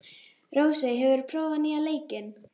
Rósey, hefur þú prófað nýja leikinn?